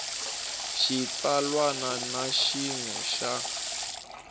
xitsalwana na xin we xa